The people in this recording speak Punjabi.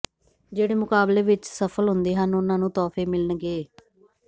ਜਿਹੜੇ ਮੁਕਾਬਲੇ ਵਿਚ ਸਫਲ ਹੁੰਦੇ ਹਨ ਉਨ੍ਹਾਂ ਨੂੰ ਤੋਹਫ਼ੇ ਮਿਲਣਗੇ